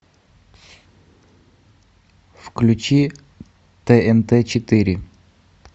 включи тнт четыре